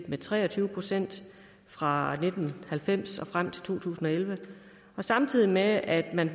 med tre og tyve procent fra nitten halvfems og frem til to tusind og elleve samtidig med at man